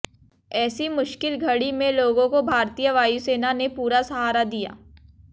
ऐसी मुश्किल घड़ी में लोगों को भारतीय वायुसेना ने पूरा सहारा दिया